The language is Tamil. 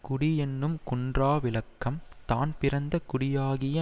குடி என்னும் குன்றா விளக்கம் தான் பிறந்த குடியாகிய